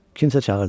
Kimsə çağırdı.